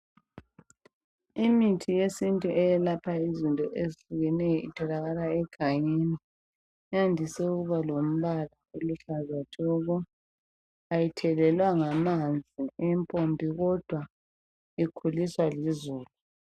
Imithi yesintu eyelapha izinto ezihlukeneyo itholakala egangeni iyandise ukubalompala oluhlaza tshoko ayithelelwa ngamanzi empompi kodwa ikhuliswa lizulu.